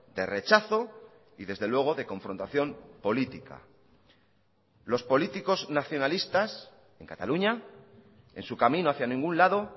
de rechazo y desde luego de confrontación política los políticos nacionalistas en cataluña en su camino hacia ningún lado